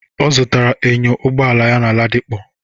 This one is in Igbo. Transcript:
Ọ zutakwara enyo Ụgbọala ya na Ladipo.